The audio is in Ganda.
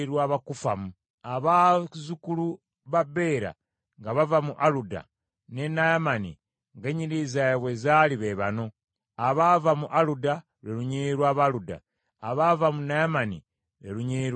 Abazzukulu ba Bera nga bava mu Aluda ne Naamani ng’ennyiriri zaabwe bwe zaali be bano: abaava mu Aluda, lwe lunyiriri lw’Abaluda; abaava mu Naamani, lwe lunyiriri lw’Abanaamani.